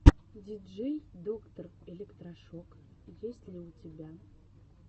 диджей доктор электрошок есть ли у тебя